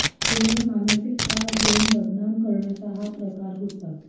केवळ मानसिक त्रास देऊन बदनाम करण्याचा हा प्रकार होता